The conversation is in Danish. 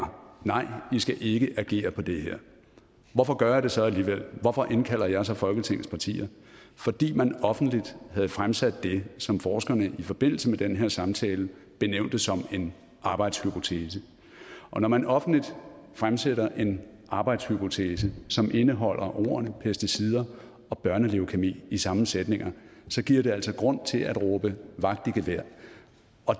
nej i skal ikke agere på det her hvorfor gør jeg det så alligevel hvorfor indkalder jeg så folketingets partier fordi man offentligt havde fremsat det som forskerne i forbindelse med den her samtale benævnte som en arbejdshypotese og når man offentligt fremsætter en arbejdshypotese som indeholder ordene pesticider og børneleukæmi i samme sætninger giver det altså grund til at råbe vagt i gevær